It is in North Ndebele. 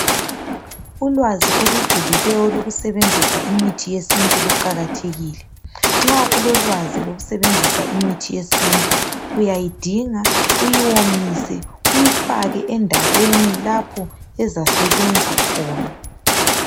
Ulwazi olujulileyo olokusebenzisa imithi yesintu luqakathekile, nxa ulolwazi lokusebenzisa imithi yesintu uyayidinga uyiwomise uyifake endaweni lapho ezasebenza khona.